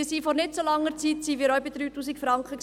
Wir waren vor nicht so langer Zeit auch bei 3000 Franken.